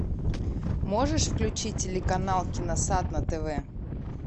можешь включить телеканал киносад на тв